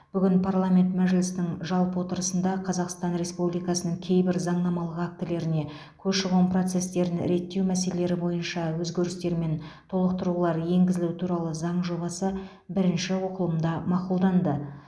бүгін парламент мәжілісінің жалпы отырысында қазақстан республикасының кейбір заңнамалық актілеріне көші қон процестерін реттеу мәселелері бойынша өзгерістер мен толықтырулар енгізілу туралы заң жобасы бірінші оқылымда мақұлданды